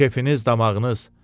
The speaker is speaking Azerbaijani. Kefiniz, damağınız?